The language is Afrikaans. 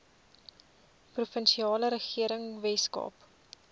provinsiale regering weskaap